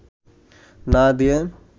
না দিয়ে